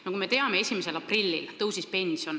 Nagu me teame, 1. aprillist pension tõusis.